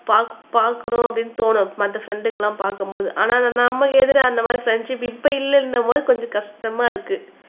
பார்க்கணும் அப்படின்னு தோணும் மற்ற ஃப்ரெண்ட்ங்க எல்லாம் பார்க்கும்போது ஆனா நமக்கு இருந்த அந்தமாரி ஃப்ரண்ட்சிப் இப்ப இல்ல என்னும் போது கொஞ்சம் கஷ்டமா இருக்கு